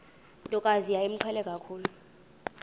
ntokazi yayimqhele kakhulu